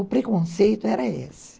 O preconceito era esse.